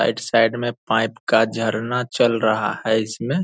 साईड - side में pipe का झरना चल रहा है इसमें।